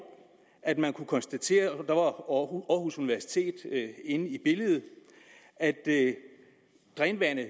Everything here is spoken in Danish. at man kunne konstatere der var aarhus universitet inde i billedet at drænvandet